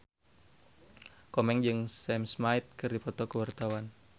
Komeng jeung Sam Smith keur dipoto ku wartawan